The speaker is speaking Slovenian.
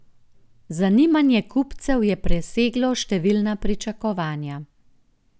Zanimanje kupcev je preseglo številna pričakovanja.